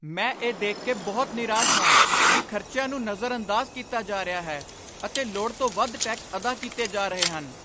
ਮੈਂ ਇਹ ਦੇਖ ਕੇ ਬਹੁਤ ਨਿਰਾਸ਼ ਹਾਂ ਕਿ ਖ਼ਰਚਿਆਂ ਨੂੰ ਨਜ਼ਰਅੰਦਾਜ਼ ਕੀਤਾ ਜਾ ਰਿਹਾ ਹੈ, ਅਤੇ ਲੋੜ ਤੋਂ ਵੱਧ ਟੈਕਸ ਅਦਾ ਕੀਤੇ ਜਾ ਰਹੇ ਹਨ।